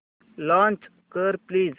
launch कर please